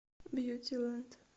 бьюти лэнд